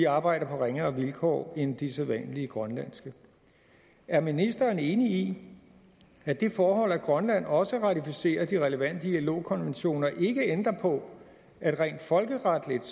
arbejder på ringere vilkår end de sædvanlige grønlandske er ministeren enig i at det forhold at grønland også ratificerer de relevante ilo konventioner ikke ændrer på at det rent folkeretligt